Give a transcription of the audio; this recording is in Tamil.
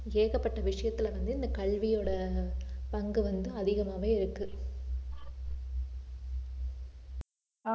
ஏகப்பட்ட விஷயத்துல வந்து இந்த கல்வியோட பங்கு வந்து அதிகமாவே இருக்கு